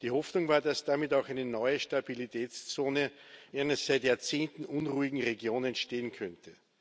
Die Hoffnung war, dass damit auch eine neue Stabilitätszone in einer seit Jahrzehnten unruhigen Region entstehen könnte.